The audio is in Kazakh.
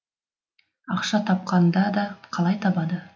ақша тапқанда да қалай табады